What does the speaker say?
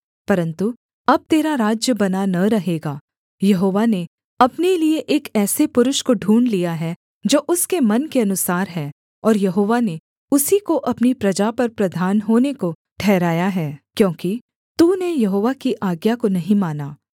परन्तु अब तेरा राज्य बना न रहेगा यहोवा ने अपने लिये एक ऐसे पुरुष को ढूँढ़ लिया है जो उसके मन के अनुसार है और यहोवा ने उसी को अपनी प्रजा पर प्रधान होने को ठहराया है क्योंकि तूने यहोवा की आज्ञा को नहीं माना